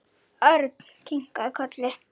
Örn kinkaði kolli.